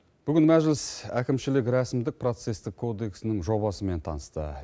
бүгін мәжіліс әкімшілік рәсімдік процестік кодексінің жобасымен танысты